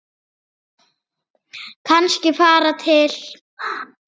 Kannski fara til